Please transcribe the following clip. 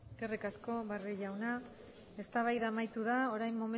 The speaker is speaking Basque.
eskerrik asko barrio jauna eztabaida amaitu da orain